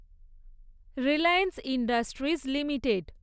Reliance Industries limited